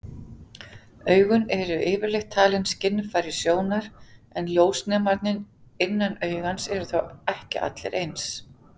Augun eru yfirleitt talin skynfæri sjónar, en ljósnemarnir innan augans eru þó ekki allir eins.